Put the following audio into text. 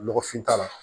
Lɔgɔfin t'a la